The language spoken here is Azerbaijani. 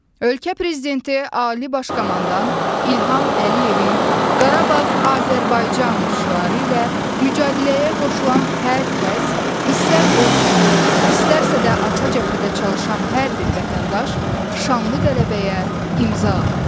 Ölkə Prezidenti, Ali Baş Komandan İlham Əliyevin "Qarabağ Azərbaycandır" şüarı ilə mücadiləyə qoşulan hər kəs istər Ordumuz, istərsə də arxa cəbhədə çalışan hər bir vətəndaş şanlı qələbəyə imza atdı.